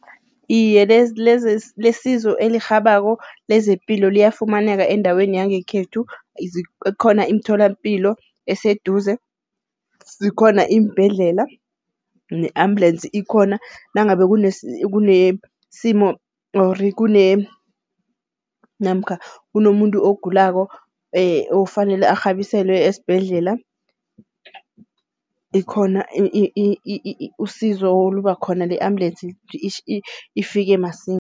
Iye lesizo elirhabako lezepilo liyafumaneka endaweni yangekhethu. Khona imtholampilo eseduze, zikhona iimbhedlela, ne-ambulensi ikhona nangabe kunesimo or namkha kunomuntu ogulako okufanele arhabiselwe esibhedlela. Likhona usizo oluba khona le-ambulensi ifike masinya.